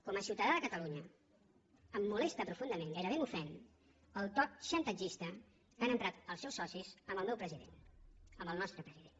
com a ciutadà de catalunya em molesta profundament gairebé m’ofèn el to xantatgista que han emprat els seus socis amb el meu president amb el nostre president